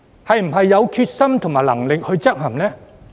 是否有決心和能力執行？